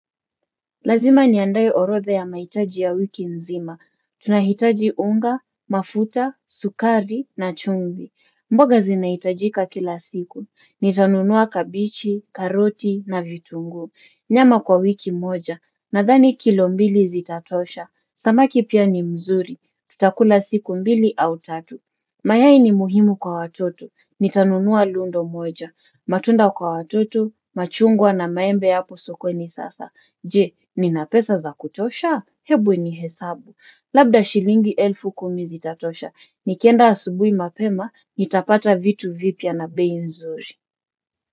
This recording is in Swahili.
Lazima niandae orodha ya mahitaji ya wiki nzima. Tunahitaji unga, mafuta, sukari na chumvi. Mboga zinahitajika kila siku. Nitanunua kabichi, karoti na vitunguu. Nyama kwa wiki moja. Nadhani kilo mbili zitatosha. Samaki pia ni mzuri. Tutakula siku mbili au tatu. Mayai ni muhimu kwa watoto. Nitanunua lundo moja. Matunda kwa watoto, machungwa na maembe hapo sokoni sasa. Je, ninapesa za kutosha? Hebu nihesabu. Labda shilingi elfu kumi zitatosha. Nikienda asubui mapema, nitapata vitu vipya na bei nzuri.